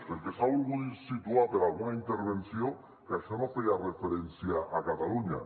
perquè s’ha volgut situar per alguna intervenció que això no feia referència a catalunya